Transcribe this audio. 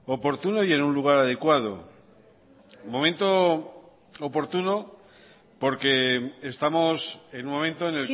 oportuno y en un lugar adecuado momento oportuno porque estamos en un momento en